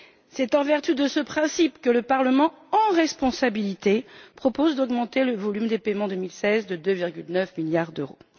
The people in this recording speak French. C'est en vertu de ce principe que le Parlement, en responsabilité, propose d'augmenter le volume des paiements 2016 de 2,9 milliards d'euros.